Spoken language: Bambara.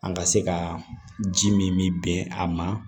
An ka se ka ji min bɛn a ma